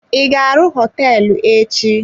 I ga-arụ hoteelu echi?